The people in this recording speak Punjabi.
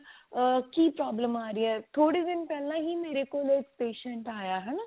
ah ਕੀ problem ਆ ਰਹੀ ਹੈ ਥੋੜੇ ਦਿਨ ਪਹਿਲਾਂ ਹੀ ਮੇਰੇ ਕੋਲ ਇੱਕ patient ਆਇਆ